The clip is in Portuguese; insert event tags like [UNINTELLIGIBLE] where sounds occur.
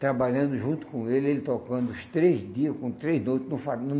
trabalhando junto com ele, ele tocando os três dias, com três noites. [UNINTELLIGIBLE]